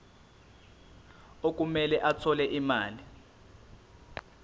okumele athole imali